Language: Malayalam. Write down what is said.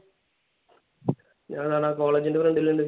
ഞാൻ ഇവിടെ ആ college ന്റെ front ൽ ഇണ്ട്.